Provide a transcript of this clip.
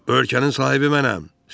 Bu ölkənin sahibi mənəm!